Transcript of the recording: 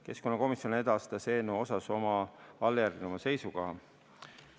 Keskkonnakomisjon edastas eelnõu kohta oma järgmise seisukoha.